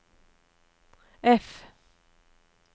F